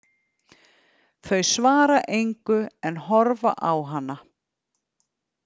Þau svara engu en horfa á hana.